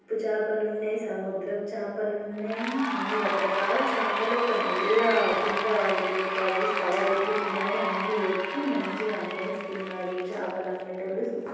ఉప్పు చాపలు ఉన్నాయి. సముద్రపు చేపలు ఉన్నాయి ఉమ్ అన్ని రకరకాల చాపలు ఒక నల్ల కింద పేపర్ వేసి కవర్ వేసి వీటిపైన అన్ని పెట్టి మంచిగా అమ్మేస్తున్నారు. చాపలమ్మటోళ్లు --]